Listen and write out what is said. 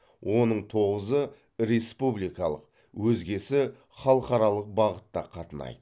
оның тоғызы республикалық өзгесі халықаралық бағытта қатынайды